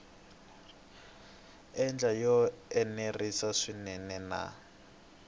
ndlela yo enerisa swinene na